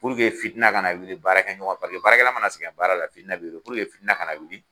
fitina ka na wuli baarakɛ ɲɔgɔn ,paseke baarakɛla ma na sɛgɛn baara la fitinɛ be wuli. fitina ka na wuli